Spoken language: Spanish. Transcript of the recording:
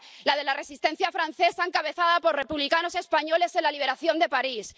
La de la resistencia francesa encabezada por republicanos españoles en la liberación de París